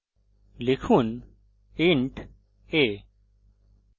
লিখুন int a ;